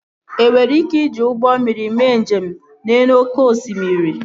Ị nwere ike iji ụgbọ mmiri mee njem n'elu oké osimiri